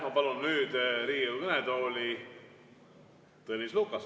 Ma palun nüüd Riigikogu kõnetooli Tõnis Lukase.